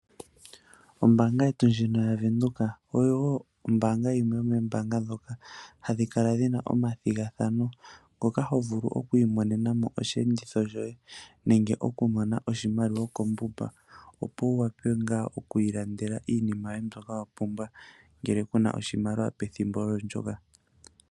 Ombanga yetu ndyino yaVenduka oyo ombanga yimwe yomombanga ndhoka hadhi kala dhina omathighathano ngoka hovulu oku imonenamo oshi enditho shoye nenge okumona oshimaliwa kombumba opo wu wape oku ilandela iinima yoye mbyoka wa pumbwa ngele kuna oshimaliwa pethimbo ndyoka.